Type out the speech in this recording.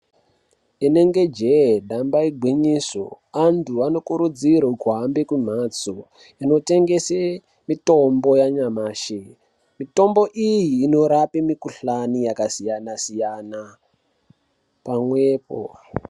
Inenge jee damba igwinyiso antu anokurudzirwe kuhambe kumhatso inotengese mitombo yanyamashi, mitombo iyi inorape mukhuhlani yakasiyana siyana pamwepo.